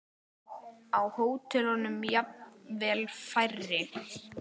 Á hótelum jafnvel færri.